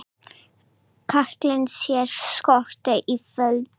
Kallinn er skotinn í Foldu.